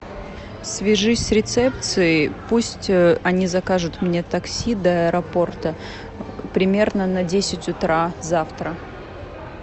свяжись с рецепцией пусть они закажут мне такси до аэропорта примерно на десять утра завтра